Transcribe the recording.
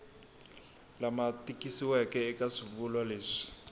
lama tikisiweke eka swivulwa leswi